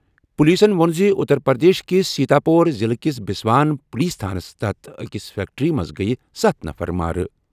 پُلیٖسن ووٚن زِ اُتر پرٛدیش کِس سیٖتاپوٗر ضِلعہٕ کِس بسوان پُلیٖس تھانس تحت أکِس فیٚکٹرٛی منٛز گٔیہِ سَتھ نَفر مارٕ۔